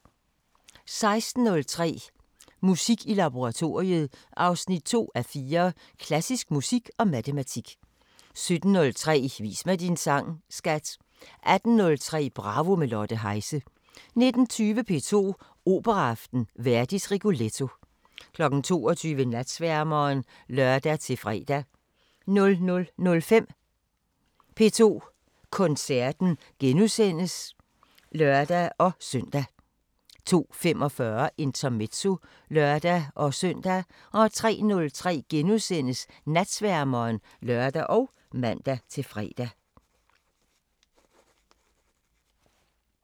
16:03: Musik i laboratoriet 2:4 – Klassisk musik og matematik 17:03: Vis mig din sang, skat! 18:03: Bravo – med Lotte Heise 19:20: P2 Operaaften: Verdis Rigoletto 22:00: Natsværmeren (lør-fre) 00:05: P2 Koncerten *(lør-søn) 02:45: Intermezzo (lør-søn) 03:03: Natsværmeren *(lør og man-fre)